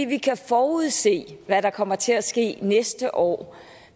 vi kan forudse hvad der kommer til at ske næste år